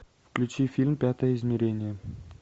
включи фильм пятое измерение